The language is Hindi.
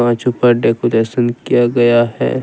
कछु पर डेकोरेशन किया गया है।